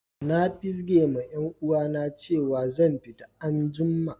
Na fizge ma yan uwa na cewa zan fita an'jumma.